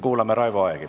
Kuulame Raivo Aegi.